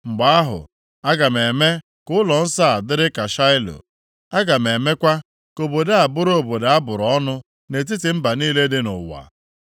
mgbe ahụ, aga m eme ka ụlọnsọ a dịrị ka Shaịlo. Aga m emekwa ka obodo a bụrụ obodo a bụrụ ọnụ nʼetiti mba niile dị nʼụwa.’ ”